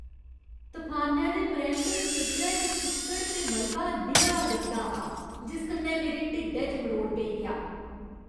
तफानै दे परैंत्त खेतरै च चिक्कड़ ते मलबा निरा गंदा हा, जिस कन्नै मेरे ढिड्डै च मरोड़ पेई गेआ।